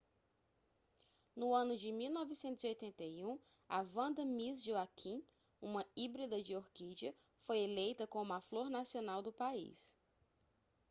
no ano de 1981 a vanda miss joaquim uma híbrida de orquídea foi eleita como a flor nacional do país